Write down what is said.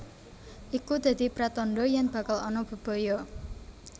Iku dadi pratandha yen bakal ana bebaya